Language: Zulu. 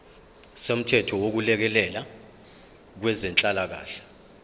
somthetho wokulekelela kwezenhlalakahle